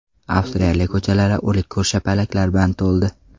Avstraliya ko‘chalari o‘lik ko‘rshapalaklar bilan to‘ldi.